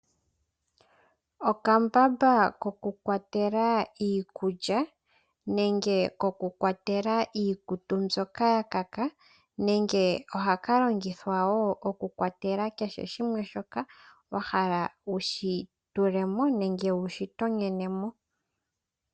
Okambamba kokukwatela iikulya nenge kokukwatela iikutu mbyoka yakaka nenge ohaka longithwa okukwatela kehe shimwe shoka wahala wushitulemo nenge wushi tonyenemo.